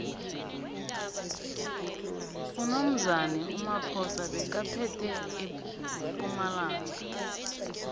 unomzane umaphosa bekaphethe empumalanga